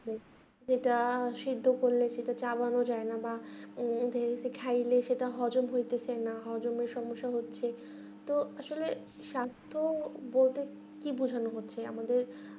বেশ যেটা সিদ্ধ করলে সেটাতে আবারো যায়না বা বেশি খাইলে সেটা হজম হইতেছেনা হজমের সমস্যা হচ্ছে তো আসলে স্বাস্থ বলতে কি বোঝানো হচ্ছে আমাদের